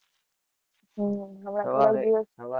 હમ